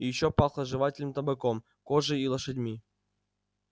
и ещё пахло жевательным табаком кожей и лошадьми